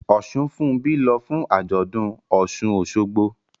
Osunfunbi ń lọ fún àjọ̀dún Osun-Osogbo